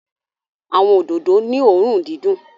Awọn ododo ni õrùn didùn